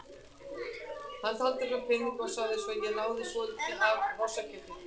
Hann taldi fram peningana og sagði svo: Ég náði í svolítið af hrossakjöti.